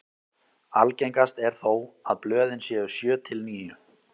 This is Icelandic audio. algengast er þó að blöðin séu sjö til níu